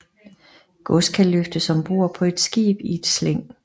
Gods kan løftes om bord på et skib i et slæng